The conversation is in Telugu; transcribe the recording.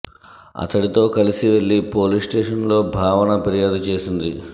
అతడితో కలసి వెళ్లి పోలీస్ స్టేషన్ లో భావన ఫిర్యాదు చేసింది